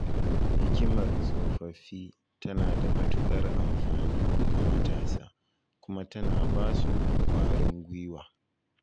Hikimar tsofaffi tana da matuƙar amfani ga matasa kuma tana ba su ƙwarin guiwa.